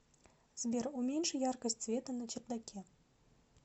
сбер уменьши яркость света на чердаке